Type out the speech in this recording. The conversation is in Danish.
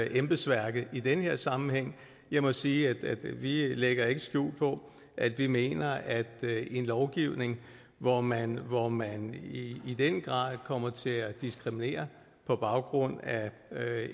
embedsværket i den her sammenhæng jeg må sige at vi ikke lægger skjul på at vi mener at en lovgivning hvor man hvor man i den grad kommer til at diskriminere på baggrund af